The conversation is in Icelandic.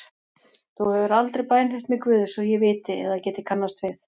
Þú hefur aldrei bænheyrt mig Guð svo ég viti eða geti kannast við.